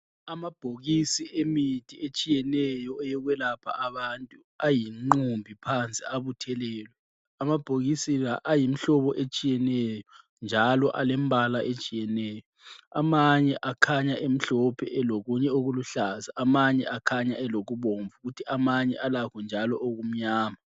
Amabhokisi emithi etshiyeneyo eyokwelapha abantu ayingqumbi phansi abuthelelwe. Amabhokisi la ayimihlobo etshiyeneyo njalo alembala etshiyeneyo. Amanye akhanya emhlophe elokunye okuluhlaza, amanye akhanya elokubomvu, kuthi amanye alakho njalo okumnyama.